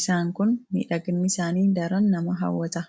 Isaanis miidhaginni isaanii daran nama hawwata.